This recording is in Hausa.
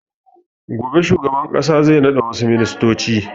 Gobe shugaban ƙasa zai naɗa wassu ministoci